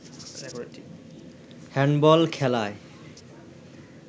handball খেলায়